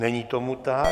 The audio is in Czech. Není tomu tak.